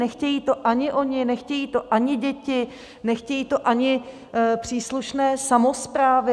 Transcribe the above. Nechtějí to ani oni, nechtějí to ani děti, nechtějí to ani příslušné samosprávy.